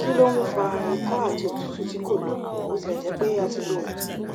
ki lo n fa iko ati otutu ti ko lo botilejepe a ti lo oogun